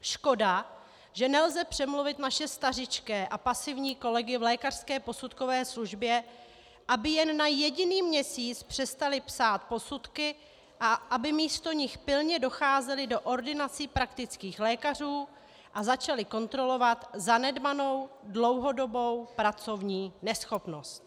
Škoda, že nelze přemluvit naše stařičké a pasivní kolegy v lékařské posudkové službě, aby jen na jediný měsíc přestali psát posudky a aby místo nich pilně docházeli do ordinací praktických lékařů a začali kontrolovat zanedbanou dlouhodobou pracovní neschopnost.